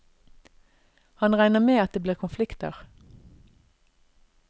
Han regner med at det blir konflikter.